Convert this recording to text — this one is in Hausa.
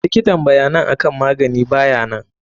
Likitan bayanan akan magani bayanan.